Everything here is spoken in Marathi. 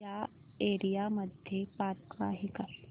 या एरिया मध्ये पार्क आहे का